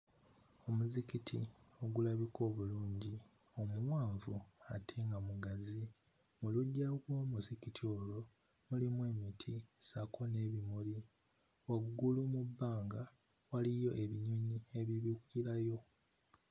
Omuzikiti ogulabika obulungi omuwanvu ate nga mugazi mu luggya w'omuzikiti olwo mulimu emiti ssaako n'ebimuli. Waggulu mu bbanga waliyo ebinyonyi ebibuukirayo.